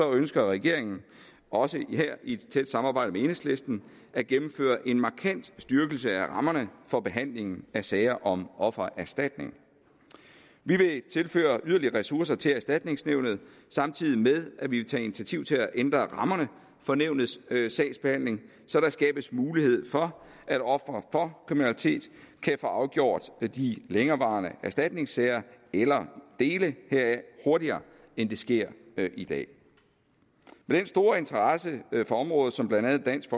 ønsker regeringen også her i et tæt samarbejde med enhedslisten at gennemføre en markant styrkelse af rammerne for behandlingen af sager om offererstatning vi vil tilføre yderligere ressourcer til erstatningsnævnet samtidig med at vi vil tage initiativ til at ændre rammerne for nævnets sagsbehandling så der skabes mulighed for at ofre for kriminalitet kan få afgjort de længerevarende erstatningssager eller dele heraf hurtigere end det sker i dag med den store interesse for området som blandt andet dansk